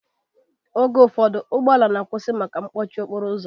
Oge ụfọdụ ụgbọala na-akwụsị maka mkpọchi okporo ụzọ